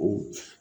O